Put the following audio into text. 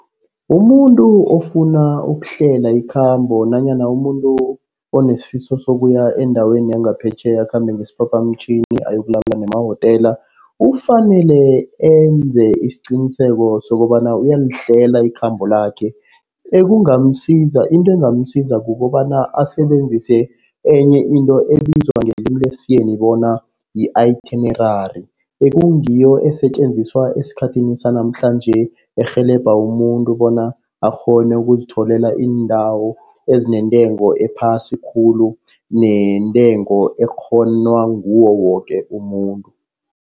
Umuntu ofuna ukuhlela ikhambo nanyana umuntu onesifiso sokuya endaweni yangaphetjheya, akhambe ngesiphaphamtjhini, ayokulala emawotela. Ufanele enze isiqiniseko sokobana uyalihlela ikhambo lakhe. Ekungamsiza, into engamsiza kukobana asebenzise enye into ebizwa ngelimi lesiyeni bona yi-itinerary, ekungiyo esetjenziswa esikhathini sanamhlanje. Erhelebha umuntu bona akghone ukuzitholela iindawo ezinentengo ephasi khulu, neentengo ekghonwa ngiwo woke umuntu.